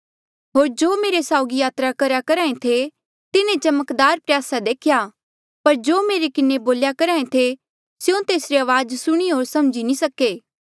होर जो मेरे साउगी यात्रा करेया करहा ऐें थे तिन्हें चमकदार प्रयासा देख्या पर जो मेरे किन्हें बोल्या करहा ऐें थे स्यों तेसरी अवाज सुणी पर समझी नी सके